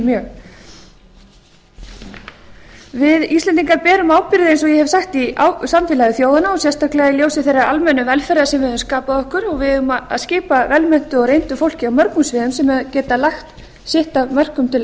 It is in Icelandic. mjög við íslendingar berum ábyrgð eins og ég hef sagt í samfélagi þjóðanna og sérstaklega í ljósi þeirrar almennu velferðar sem við höfum skapað okkur og við eigum á að skipa vel menntuðu og reyndu fólki á mörgum sviðum sem getur lagt sitt af mörkum til